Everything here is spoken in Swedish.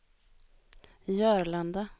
Jörlanda